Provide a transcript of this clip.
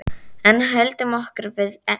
En höldum okkur við efnið.